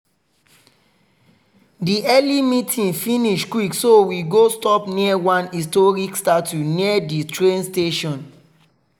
di early meeting finish quick so we go stop near one historic statue near the train station.